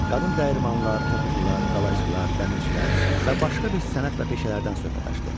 Qadın dəyirmanlar, toxucular, qalayçılar, dəmirçilər və başqa bir sənət və peşələrdən söhbət açdı.